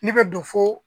Ne bɛ dɔ fo